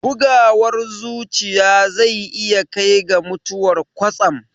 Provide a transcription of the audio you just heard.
Bugawar zuciya zai iya kai ga mutuwar kwatsam